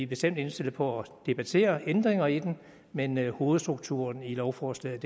bestemt indstillet på at debattere ændringer i det men hovedstrukturen i lovforslaget